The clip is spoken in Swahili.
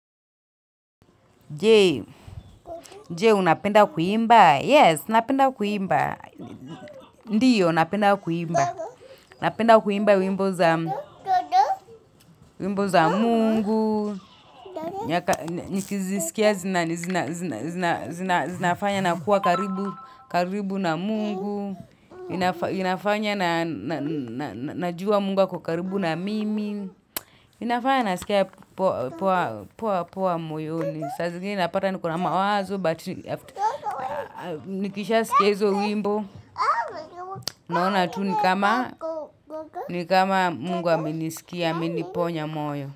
Je, je unapenda kuimba? Yes, napenda kuimba. Ndiyo, napenda kuimba. Napenda kuimba wimbo zawimbo za mungu. Nikizisikia zinafanya nakuwa karibu karibu na mungu. Inafanya najua mungu ako karibu na mimi. Inafanya nasikia poa moyoni. Sa zingine napata niko na mawazo, but afta nikishasikia hizo wimbo. Naona tu ni kama ni kama mungu amenisikia, ameniponya moyo.